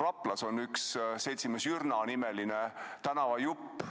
Raplas on üks seltsimees Jürna nimeline tänavajupp.